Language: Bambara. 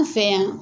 An fɛ yan